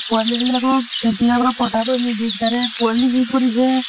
পোৱালি বিলাকক কেতিয়াবা পঠাবই নিবিচাৰে, পোৱালি কি কৰিছে,